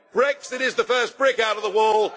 Brexit is the first brick out of the wall.